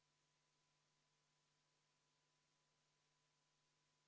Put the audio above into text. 2007–2009, kui oli suurem masuaeg, valitsus katsetas maksudega ja ka riigi rahakoti kokkutõmbamisega.